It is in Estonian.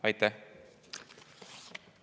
Aitäh!